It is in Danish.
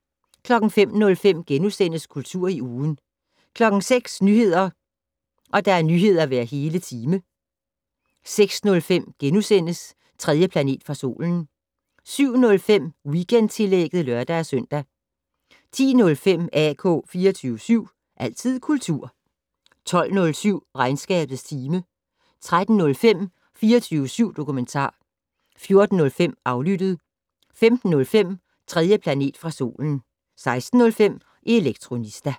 05:05: Kultur i ugen * 06:00: Nyheder hver hele time 06:05: 3. planet fra solen * 07:05: Weekendtillægget (lør-søn) 10:05: AK 24syv. Altid kultur 12:07: Regnskabets time 13:05: 24syv dokumentar 14:05: Aflyttet 15:05: 3. planet fra solen 16:05: Elektronista